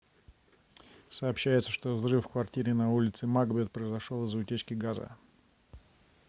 сообщается что взрыв в квартире на улице макбет произошел из-за утечки газа